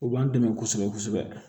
U b'an dɛmɛ kosɛbɛ kosɛbɛ